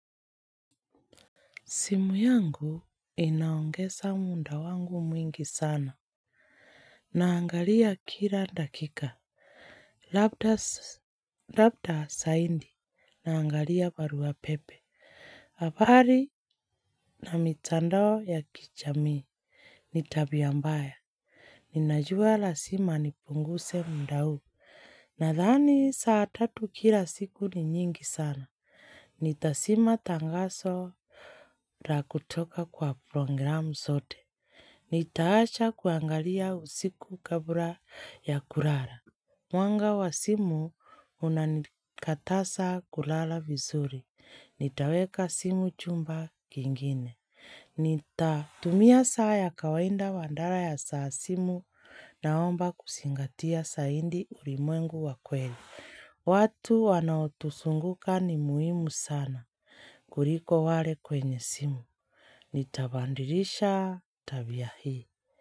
Simu yangu inaongesa munda wangu mwingi sana. Naangalia kila dakika. Labda Labda saindi. Naangalia barua pepe. Abari na mitandao ya kichamii. Nitabia mbaya. Ninajua la sima nipunguse muda huu. Nadhani saa tatu kila siku ni nyingi sana. Nitasima tangaso ra kutoka kwa programu sote. Nitaacha kuangalia usiku kabura ya kurara. Mwanga wa simu unanikatasa kulala vizuri. Nitaweka simu chumba kingine. Nita tumia saa ya kawainda wandara ya saa simu naomba kusingatia saindi ulimwengu wa kweli. Watu wanaotusunguka ni muhimu sana kuriko wale kwenye simu. Nitabandirisha tabia hii.